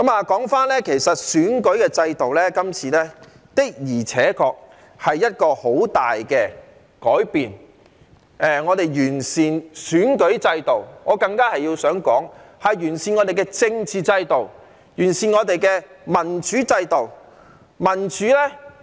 說回選舉制度，今次修訂的而且確是一個很大的改變，我們要完善選舉制度，但我想說這更是完善我們的政治制度，完善我們的民主制度。